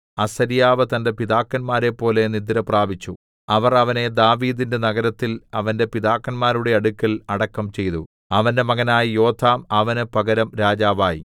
അസര്യാവ് തന്റെ പിതാക്കന്മാരെപ്പോലെ നിദ്രപ്രാപിച്ചു അവർ അവനെ ദാവീദിന്റെ നഗരത്തിൽ അവന്റെ പിതാക്കന്മാരുടെ അടുക്കൽ അടക്കം ചെയ്തു അവന്റെ മകനായ യോഥാം അവന് പകരം രാജാവായി